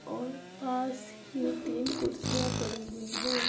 और पास ही तीन कुर्सियाँ पड़ी हुई हैं।